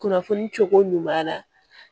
Kunnafoni cogo ɲuman